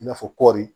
I n'a fɔ kɔri